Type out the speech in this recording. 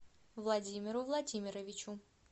владимиру владимировичу